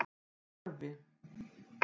Narfi